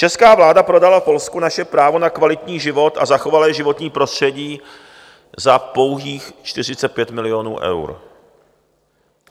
Česká vláda prodala Polsku naše právo na kvalitní život a zachovalé životní prostředí za pouhých 45 milionů eur.